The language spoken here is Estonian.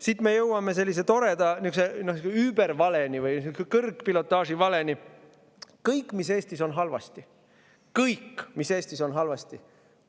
Siit me jõuame sellise toreda übervaleni või kõrgpilotaaži valeni: kõik, mis Eestis on halvasti – kõik, mis Eestis on halvasti!